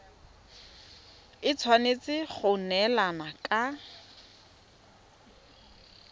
e tshwanetse go neelana ka